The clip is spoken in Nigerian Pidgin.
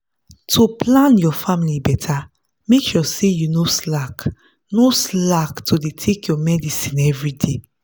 to plan your family better make sure say you no slack no slack to dey take your medicine everyday.